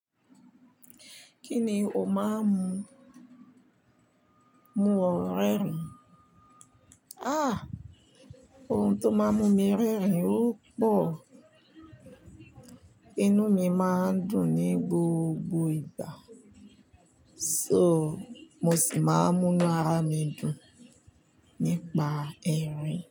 Kí ni o máa ń mu, mu ọ rẹ́rìn? Ah! Ohun tó máa ń mú mi rẹ́rìn ó pọ̀. Inú mi máa ń dùn ní gbogbo ìgbà, so mo sì máa ń mú ara mi dùn nípa ẹrin.